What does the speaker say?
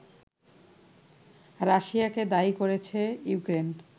রাশিয়াকেই দায়ী করেছে ইউক্রেন